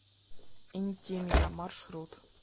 интимия маршрут